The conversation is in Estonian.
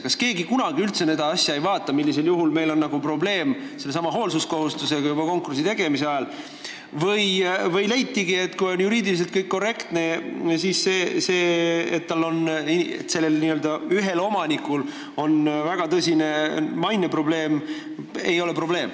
Kas keegi üldse kunagi seda asja ei vaata, millisel juhul on probleem sellesama hoolsuskohustusega juba konkursi tegemise ajal, või leitigi, et kui juriidiliselt on kõik korrektne, siis ühe inimese väga halb maine ei ole probleem?